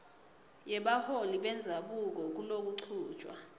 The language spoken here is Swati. yebaholi bendzabuko kulokuchutjwa